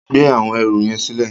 Gbé áwòn èrú yèn silè